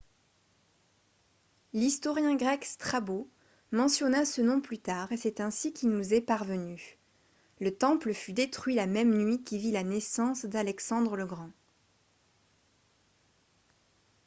l'historien grec strabo mentionna ce nom plus tard et c'est ainsi qu'il nous est parvenu le temple fut détruit la même nuit qui vit la naissance d'alexandre le grand